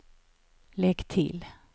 lägg till